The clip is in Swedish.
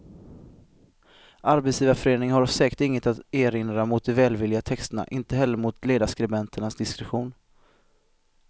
Arbetsgivarföreningen har säkert inget att erinra mot de välvilliga texterna, inte heller mot ledarskribenternas diskretion.